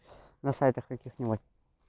на сайтах каких-нибудь